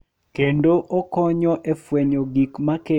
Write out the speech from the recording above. Kendo okonyo e fwenyo gik ma kelo pogruok.